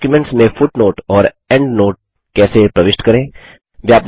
documents में footnote और endnote कैसे प्रविष्ट करें